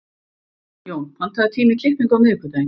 Jón, pantaðu tíma í klippingu á miðvikudaginn.